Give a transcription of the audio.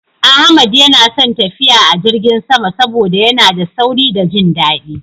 Ahmad yana son tafiya a jirgin sama saboda yana da sauri da jin daɗi.